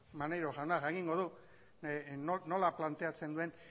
maneiro jauna jakingo du nola planteatzen duen